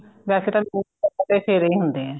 ਵੈਸੇ ਤਾਂ mostly ਸਾਡੇ ਫੇਰੇ ਹੀ ਹੁੰਦੇ ਐ